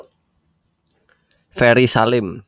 Ferry Salim